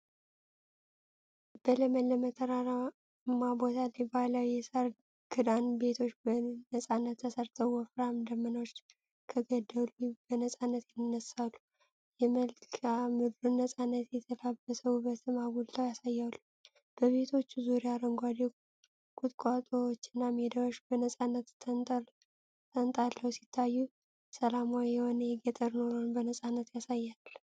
በለመለመ ተራራማ ቦታ ላይ ባህላዊ የሳር ክዳን ቤቶች በነፃነት ተሰርተዋል:: ወፍራም ደመናዎች ከገደሉ በነፃነት ይነሳሉ፣ የመልክአ ምድሩን ነፃነት የተላበሰ ውበትም አጉልተው ያሳያሉ። በቤቶቹ ዙሪያ አረንጓዴ ቁጥቋጦዎችና ሜዳዎች በነፃነት ተንጣለው ሲታዩ፣ ሰላማዊ የሆነ የገጠር ኑሮን በነፃነት ያሳያል::